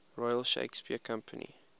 royal shakespeare company